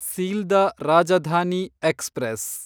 Sealdah Rajdhani express